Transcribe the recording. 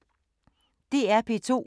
DR P2